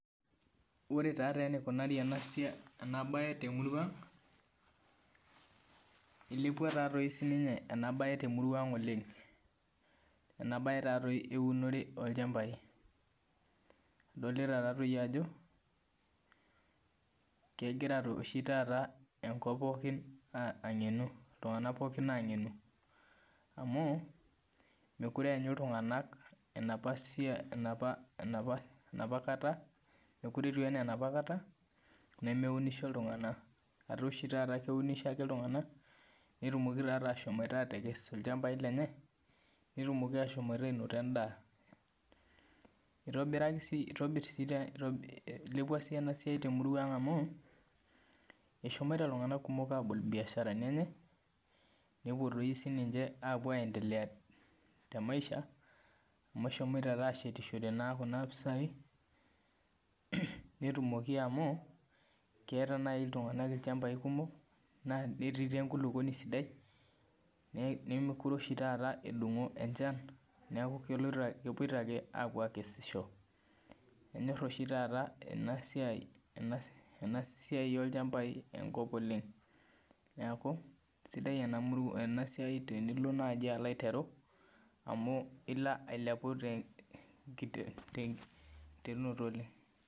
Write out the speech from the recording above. Ore taa enikunari ena mbae temurua ang nilepuo oleng temurua ang ee mbae taadoi euni olchambai edolita Ajo kegira oshi taata enkop pookin ang'enu iltung'ana pookin ang'enu amu mekure enyu iltung'ana enapakata mekure etiu ena enapakata nemeunisho iltung'ana etaa oshi taata keunisho ake iltung'ana netumoki ashom atekes ilchambai lenye netumoki ashom anoto endaa eilepua sii ena siai temurua ang amu eshomo iltung'ana kumok abol ebiasharani enye nepuo doi sinche aendelea tee maisha amu eshomoite ashetishore Kuna pisai netumoki amu keeta naaji iltung'ana ilchambai kumok netii naaji enkulupuoni sidai nemekure oshi taata edungo enchan neeku kepuoito ake akesisho enyor oshi taata enasiai olchambai emurua oleng neeku sidai naaji enasiai tenilo naaji aiteru amu elo ailepu tenkiterunoto oleng